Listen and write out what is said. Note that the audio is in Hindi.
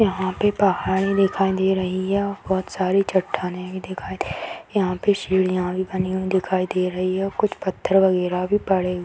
यहाँ पे पहाड़े दिखाई दे रही है बहुत सारी चट्टाने भी दिखाई दे रही है यहाँ पे सीढियां बनी हुई दिखाई दे रही है और कुछ पत्थर वगेरा भी पड़े हुए--